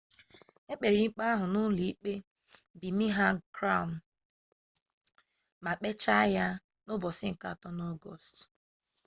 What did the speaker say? e kpere ikpe ahụ n'ụlọ ikpe birmingham crown ma kpechaa ya na ọgọst 3